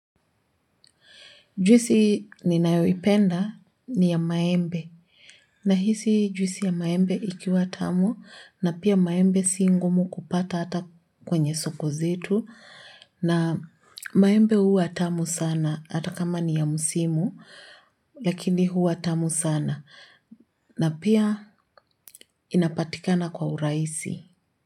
Juisi ninayoipenda ni ya maembe nahisi juisi ya maembe ikiwa tamu na pia maembe si ngumu kupata hata kwenye soko zetu na maembe huwa tamu sana hata kama ni ya musimu lakini huwa tamu sana na pia inapatikana kwa urahisi.